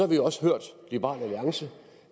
vi jo også hørt liberal alliance